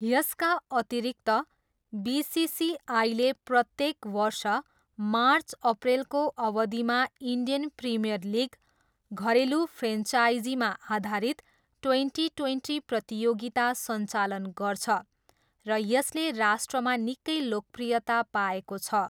यसका अतिरिक्त, बिसिसिआईले प्रत्येक वर्ष मार्च अप्रेलको अवधिमा इन्डियन प्रिमियर लिग, घरेलु फ्रेन्चाइजीमा आधारित ट्वेन्टी ट्वेन्टी प्रतियोगिता सञ्चालन गर्छ र यसले राष्ट्रमा निकै लोकप्रियता पाएको छ।